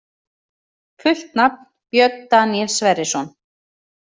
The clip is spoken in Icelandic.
Fullt nafn: Björn Daníel Sverrisson